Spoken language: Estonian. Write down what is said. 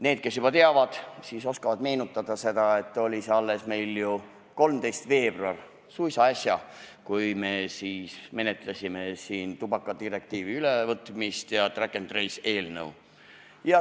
Need, kes juba teavad, oskavad meenutada, et alles 13. veebruaril, suisa äsja menetlesime siin tubakadirektiivi ülevõtmist ja nn track-&-trace-eelnõu.